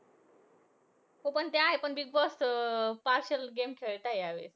हो पण ते आहे. पण बिगबॉस अं partial game खेळताय ह्यावेळेस.